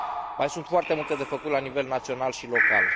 Mai sunt foarte multe de făcut la nivel național și local.